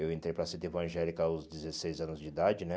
Eu entrei para a sede evangélica aos dezesseis anos de idade, né?